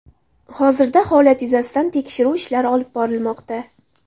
Hozirda holat yuzasidan tekshiruv ishlari olib borilmoqda.